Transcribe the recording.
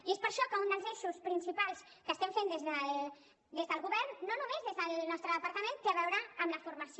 i és per això que un dels eixos principals que estem fent des del govern no només des del nostre departament té a veure amb la formació